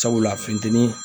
Sabula fintɛni